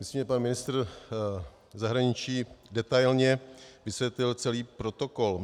Myslím, že pan ministr zahraničí detailně vysvětlil celý protokol.